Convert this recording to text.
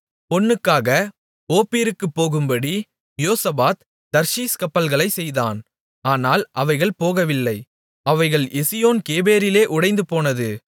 பொன்னுக்காக ஓப்பீருக்குப் போகும்படி யோசபாத் தர்ஷீஸ் கப்பல்களைச் செய்தான் ஆனால் அவைகள் போகவில்லை அவைகள் எசியோன் கேபேரிலே உடைந்துபோனது